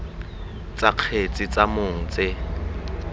tsa kgetse tsa mong tse